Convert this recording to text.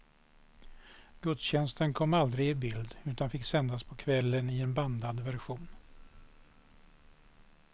Gudstjänsten kom aldrig i bild utan fick sändas på kvällen i en bandad version.